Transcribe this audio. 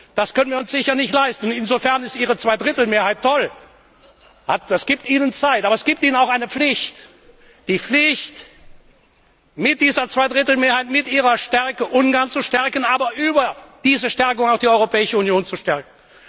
Das können wir uns sicher nicht leisten. Insofern ist Ihre Zweidrittelmehrheit toll. Das gibt Ihnen Zeit. Aber es gibt Ihnen auch eine Pflicht, die Pflicht, mit dieser Zweidrittelmehrheit, mit Ihrer Stärke Ungarn zu stärken, aber über diese Stärke auch die Europäische Union zu stärken.